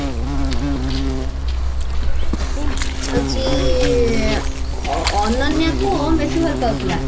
ମାରିଦେଲା କି ହଉଛି ଅନନ୍ୟାକୁ ଓମ ବେଶୀ ଭଲ ପାଉଥିଲା